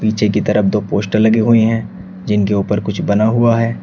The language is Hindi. पीछे की तरफ दो पोस्टर लगी हुई हैं जिनके ऊपर कुछ बना हुआ है।